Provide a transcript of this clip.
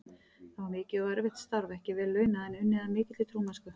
Það var mikið og erfitt starf, ekki vel launað, en unnið af mikilli trúmennsku.